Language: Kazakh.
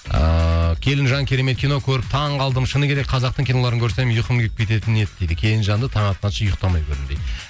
ыыы келінжан керемет кино көріп таң қалдым шыны керек қазақтың киноларын көрсем ұйқым келіп кететін еді дейді келінжанды таң атқанша ұйқтамай көрдім дейді